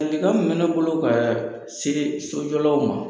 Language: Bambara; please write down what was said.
Ladilikan min bɛ ne bolo ka se sojɔlaw ma,